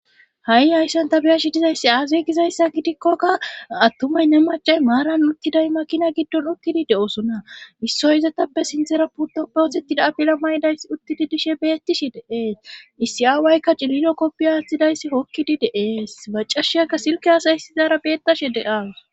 Ha'i hayssan tabiyashi dizayssi aaze gizayssa gidikkokka attumay ne macay maaran uttiday makina giddon okkidi de7osona issoy izatappe sinthera putoppe otettida apila maydays uttidi dishe beettishi deees issi7a waykka cililo koppi aaththidayssi hokkidi deees macashiyakka silke asayssizara beettashe deas.